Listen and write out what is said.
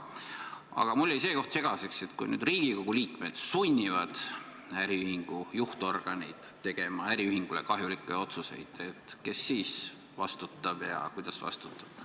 Aga mulle jäi see koht segaseks, et kui nüüd Riigikogu liikmed sunnivad äriühingu juhtorganeid tegema äriühingule kahjulikke otsuseid, kes siis vastutab ja kuidas vastutab.